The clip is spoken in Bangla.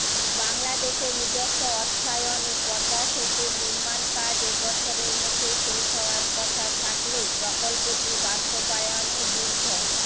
বাংলাদেশের নিজস্ব অর্থায়নে পদ্মাসেতুর নির্মাণকাজ এ বছরের মধ্যে শেষ হওয়ার কথা থাকলেও প্রকল্পটি বাস্তবায়নে দীর্ঘ